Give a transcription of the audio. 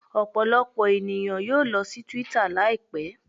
Ọpọlọpọ eniyan yoo lọ si twitter laipẹ